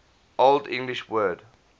old english word